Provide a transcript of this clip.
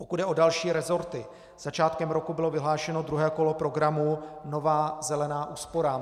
Pokud jde o další resorty, začátkem roku bylo vyhlášeno druhé kolo programu Nová zelená úsporám.